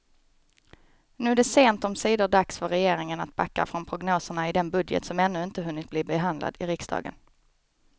Nu är det sent omsider dags för regeringen att backa från prognoserna i den budget som ännu inte hunnit bli behandlad i riksdagen.